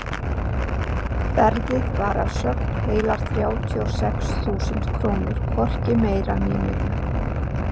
Verðið var að sögn heilar þrjátíu og sex þúsund krónur, hvorki meira né minna.